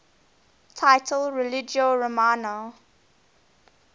title religio romana